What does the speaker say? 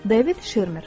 David Shermer.